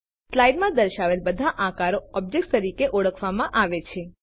slide માં દર્શાવેલ બધા આકારો ઓબ્જેક્ટ તરીકે ઓળખવામાં આવે છે